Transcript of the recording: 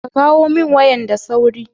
kawo kawo min wayan da sauri.